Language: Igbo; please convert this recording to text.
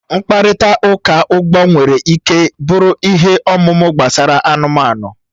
Mkparịta ụka ugbo nwere ike bụrụ ihe ọmụma gbasara anụmanụ